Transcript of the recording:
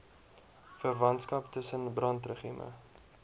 verwantskap tussen brandregime